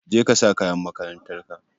Jeka sa kayan makarantarka.